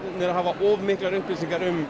að hafa of miklar upplýsingar um